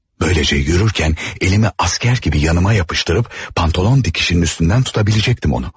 Böyləcə yürürkən əlimi əsgər kimi yanımaq yapışdırıb pantolon dikişinin üstündən tuta biləcəkdim onu.